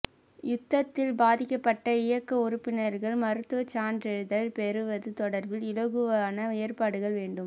யுத்தத்தில் பாதிக்கப்பட்ட இயக்க உறுப்பினர்கள் மருத்துவச் சான்றிதழ் பெறுவது தொடர்பில் இலகுவான ஏற்பாடுகள் வேண்டும்